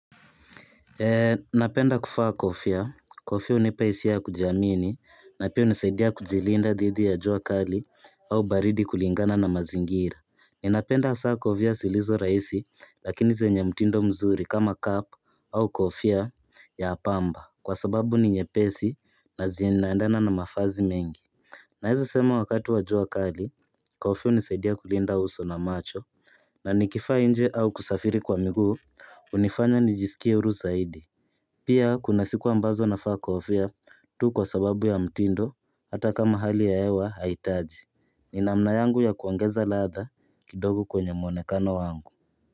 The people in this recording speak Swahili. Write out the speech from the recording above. Napenda kuvaa kofia. Kofia hunipa hisia ya kujiamini na pia hunisaidia kujilinda dhidi ya jua kali au baridi kulingana na mazingira. Ninapenda hasaa vya zilizo rahisi lakini zenye mtindo mzuri kama cap au kofia ya pamba kwa sababu ni nyepesi na zinaendana na mavazi mengi. Naeza sema wakati wa jua kali, kofia hunisaidia kulinda uso na macho na nikivaa inje au kusafiri kwa miguu hunifanya nijisikie huru zaidi. Pia kuna siku ambazo navaa kofia tu kwa sababu ya mtindo hata kama hali ya hewa haihitaji ni namna yangu ya kuongeza laadha kidogo kwenye mwonekano wangu.